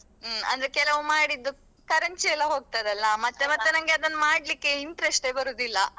ಹ್ಮ್ ಅಂದ್ರೆ ಕೆಲವ್ ಮಾಡಿದ್ದು ಕರೆಂಚಿ ಎಲ್ಲ ಹೋಗ್ತದಲ್ಲಾ ಮತ್ತೆ ಮತ್ತೆ ಅದನ್ನ್ ಮಾಡ್ಲಿಕ್ಕೆ interest ಯೇ ಬರುದಿಲ್ಲಾ.